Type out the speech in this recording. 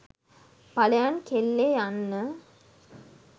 පලයන් කෙල්ලේ යන්න.